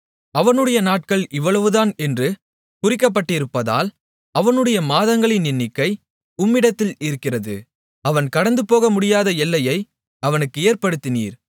அவனுடைய நாட்கள் இவ்வளவுதான் என்று குறிக்கப்பட்டிருப்பதால் அவனுடைய மாதங்களின் எண்ணிக்கை உம்மிடத்தில் இருக்கிறது அவன் கடந்துபோகமுடியாத எல்லையை அவனுக்கு ஏற்படுத்தினீர்